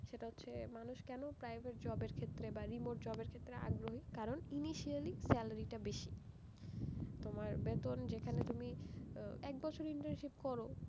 সেটা হচ্ছে, মানুষ কেন private job এর ক্ষেত্রে বা remote job এর ক্ষেত্রে আগ্রহী, কারণ ly salary টা বেশি, তোমার বেতন যেখানে তুমি একবছর internship করো,